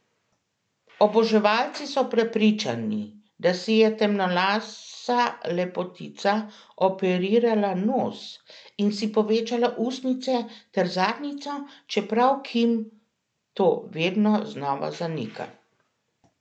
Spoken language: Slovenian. Oboževalci so prepričani, da si je temnolasa lepotica operirala nos in si povečala ustnice ter zadnjico, čeprav Kim to vedno znova zanika.